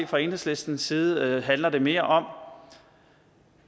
fra enhedslistens side handler det mere om